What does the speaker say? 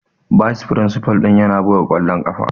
Bayis firinsifal ɗin yana buga kwallon kafa.